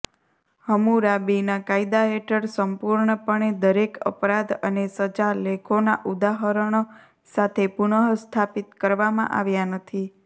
હમ્મુરાબીના કાયદા હેઠળ સંપૂર્ણપણે દરેક અપરાધ અને સજા લેખોના ઉદાહરણો સાથે પુનઃસ્થાપિત કરવામાં આવ્યાં નથી